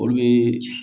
Olu bee